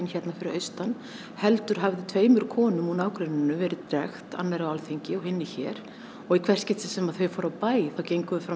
fyrir austan heldur hafði tveimur konum úr nágrenninu verið drekkt annarri á Alþingi og hinni hér í hvert skipti sem þau fóru af bæ gengu þau fram